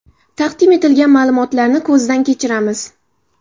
Taqdim etilgan ma’lumotlarni ko‘zdan kechiramiz.